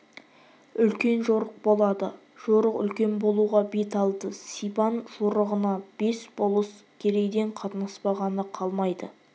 үлкен жорық болады жорық үлкен болуға бет алды сибан жорығына бес болыс керейден қатынаспағаны қалмайды